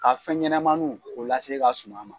Ka fɛn ɲɛnamaninw k'o lase i ka suma ma.